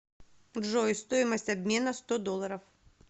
джой стоимость обмена сто долларов